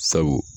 Sabu